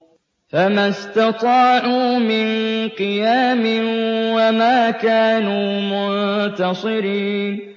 فَمَا اسْتَطَاعُوا مِن قِيَامٍ وَمَا كَانُوا مُنتَصِرِينَ